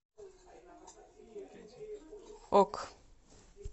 ок